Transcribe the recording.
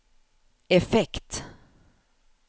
effekt